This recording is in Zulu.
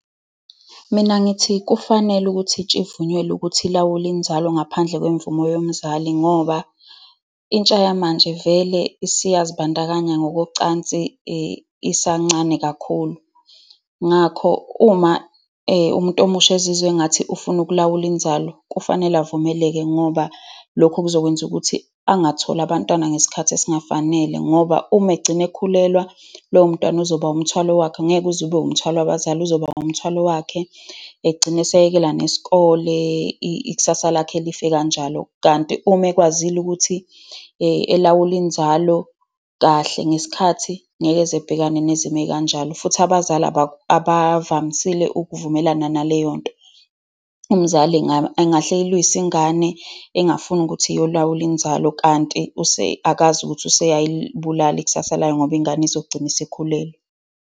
Mina ngithi kufanele ukuthi intsha ivunyelwe ukuthi ilawule inzalo ngaphandle kwemvumo yomzali, ngoba intsha yamanje vele isiyazibandakanya ngokocansi isancane kakhulu. Ngakho, uma umuntu omusha ezizwe engathi ufuna ukulawula inzalo, kufanele ovumeleke ngoba lokho kuzokwenza ukuthi angatholi abantwana ngesikhathi esingafanele. Ngoba uma egcine ekhulelwa, lowo mntwana uzoba umthwalo wakhe. Angeke uze abe umthwalo wabazali. Uzoba umthwalo wakhe. Egcina eseyekela nesikole. Ikusasa lakhe life kanjalo. Kanti uma ekwazile ukuthi elawule inzalo kahle ngesikhathi, ngeke ezebhekane nezimo ey'kanjalo. Futhi abazali abavamisile ukuvumelana naleyo nto. Umzali engahle eyilwise ingane, engafuni ukuthi iyolawula inzalo, kanti akazi ukuthi useyalibulala ikusasa layo, ngoba ingane izogcina isekhulelwe.